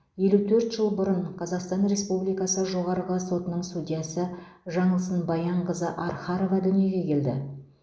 елу төрт жыл бұрын қазақстан республикасы жоғарғы сотының судьясы жаңылсын баянқызы архарова дүниеге келді